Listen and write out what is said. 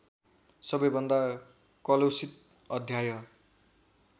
सबैभन्दा कलुषित अध्याय